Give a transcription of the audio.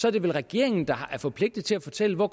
er det vel regeringen der er forpligtet til at fortælle hvor